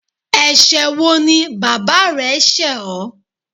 Ẹsẹ̀ wo ni bàbá rẹ ṣẹ ọ?